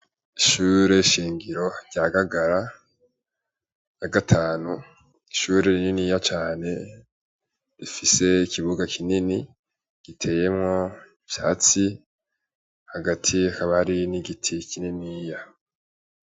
Ishure shingiro rya gagara na gatanu ishure rininiya cane rifise ikibuga kinini giteyemwo ivyatsi hagati akabari n'igiti kinini ya.